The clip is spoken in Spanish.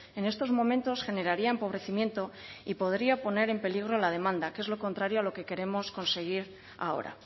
en estos momentos generaría empobrecimiento y podría poner en peligro la demanda que es lo contrario a lo que queremos conseguir ahora